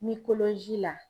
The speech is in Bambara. la.